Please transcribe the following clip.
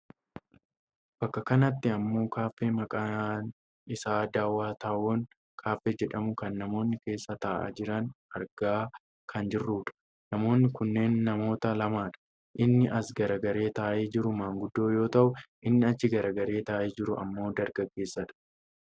bakka kanatti ammoo kaaffee maqaan isaa daawo taawon kaaffee jedhamu kan namoonni keessa taa'aa jiran argaa kan jirrudha. namoonni kunneen namoota lamadha. inni as garagaree taa'ee jiru maanguddoo yoo ta'u inni achi garagaree taa'ee jiru ammoo dargaggeessadha.